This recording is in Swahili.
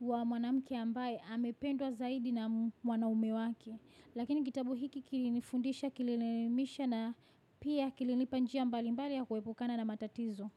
wa mwanamke ambaye amependwa zaidi na mwanaume wake. Lakini kitabu hiki kilinifundisha kilinielimisha na pia kilinipa njia mbalimbali ya kuepukana na matatizo.